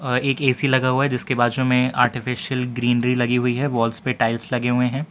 अ एक ए_सी लगा हुआ है जिसके बाजू में आर्टिफिशियल ग्रीनरी लगी हुई है वॉल्स पे टाइल्स लगे हुए हैं।